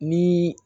Ni